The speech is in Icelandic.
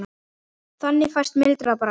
Þannig fæst mildara bragð.